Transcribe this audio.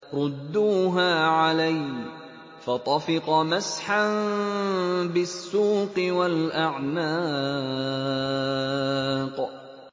رُدُّوهَا عَلَيَّ ۖ فَطَفِقَ مَسْحًا بِالسُّوقِ وَالْأَعْنَاقِ